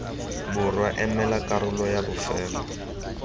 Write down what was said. borwa emela karolo yay bofelo